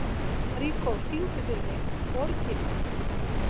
Maríkó, syngdu fyrir mig „Orginal“.